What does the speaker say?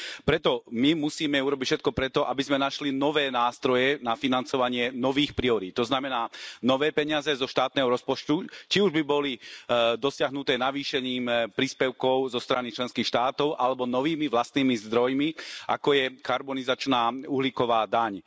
Preto my musíme urobiť všetko preto, aby sme našli nové nástroje na financovanie nových priorít, to znamená nové peniaze zo štátneho rozpočtu, či už by boli dosiahnuté navýšením príspevkov zo strany členských štátov, alebo novými vlastnými zdrojmi, ako je karbonizačná uhlíková daň.